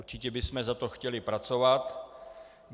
Určitě bychom za to chtěli pracovat.